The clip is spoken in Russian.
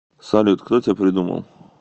салют кто тебя придумал